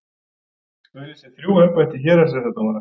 Auglýsir þrjú embætti hæstaréttardómara